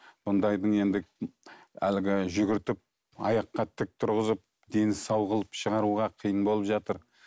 мұндайдың енді әлгі жүгіртіп аяққа тік тұрғызып дені сау қылып шығаруға қиын болып жатыр